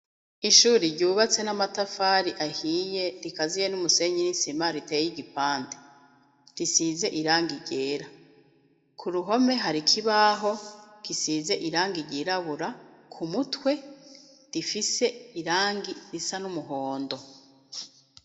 Ishuri ryubatse n'amatafari ahiye rikaziye n'umusenyi n'isima riteye i gipante risize iranga iryera ku ruhome hari ikibaho gisize iranga irirabura ku mutwe rifise irangi risa n'umuhondo.